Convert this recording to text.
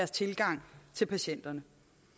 så i sig selv